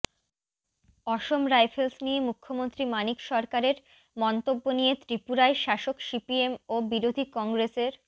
অসম rifles নিয়ে মুখ্যমন্ত্রী মানিক সরকারের মন্তব্য নিয়ে ত্রিপুরায় শাসক সিপিএম ও বিরোধী কংগ্রেসের